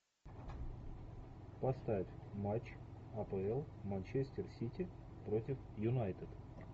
поставь матч апл манчестер сити против юнайтед